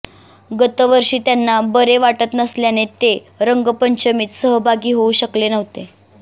गतवर्षी त्यांना बरे वाटत नसल्याने ते रंगपंचमीत सहभागी होऊ शकले नव्हते